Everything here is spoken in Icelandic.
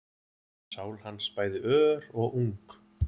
Sál hans bæði ör og ung